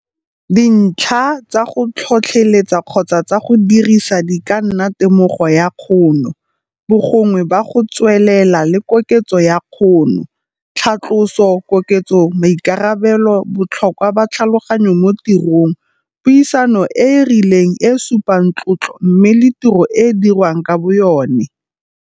Dintlha tsa go tlhotlheletsa kgotsa tsa go dirisa di ka nna temogo ya kgono, bogongwe ba go tswelela le koketso ya kgono, tlhatloso, koketso ya maikarabelo, botlhokwa ba tlhaloganyo mo tirong, puisano e e rileng e e supang tlotlo mme le tiro e e dirwang ka boyone.